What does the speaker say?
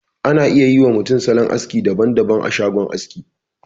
Ana iya yi wa mutum salon aski daban daban a shagon aski.